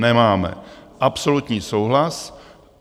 Nemáme, absolutní souhlas.